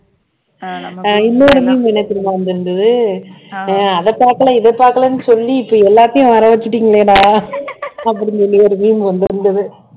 அஹ் இன்னொரு meme என்ன தெரியுமா வந்திருந்தது அஹ் அதை பாக்கலே இதை பாக்கலேன்னு சொல்லி இப்ப எல்லாத்தையும் வர வச்சுட்டீங்களேடா அப்படின்னு சொல்லி ஒரு meme வந்திருந்தது